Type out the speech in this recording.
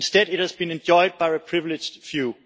Instead, it has been enjoyed by a privileged few.